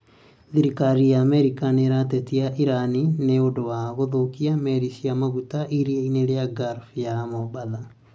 Thirikari ya Amerika nĩĩratetia Iran nĩ ũndũ wa kũthũkia meri cia maguta iria-inĩ rĩa Gulf ya Mombatha